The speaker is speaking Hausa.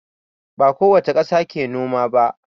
Ba kowace ƙasa ke noma ba.